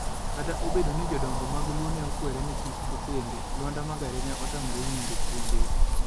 Kata obedo ni jodongo mag Luo ne okwere ni kik okende, Luanda Magere ne otamore winjo puonjgi.